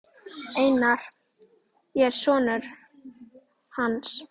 Einar, ég er sonur. hans.